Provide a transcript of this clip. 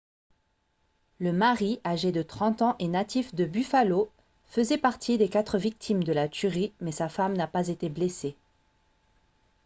le mari âgé de 30 ans et natif de buffalo faisait partie des quatre victimes de la tuerie mais sa femme n'a pas été blessée